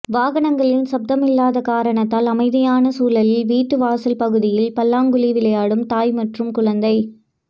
வாகனங்களின் சப்தம் இல்லாத காரணத்தால் அமைதியான சூழலில் வீட்டு வாசல் பகுதியில் பல்லாங்குழி விளையாடும் தாய் மற்றும் குழந்தை